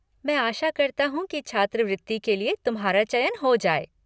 मैं आशा करता हूँ कि छात्रवृति के लिए तुम्हारा चयन हो जाए।